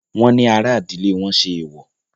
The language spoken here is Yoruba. Wọ́n ní ará ìdílé wọn ṣe èwọ̀.